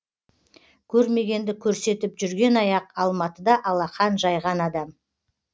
көрмегенді көрсетіп жүрген аяқ алматыда алақан жайған адам